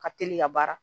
Ka teli ka baara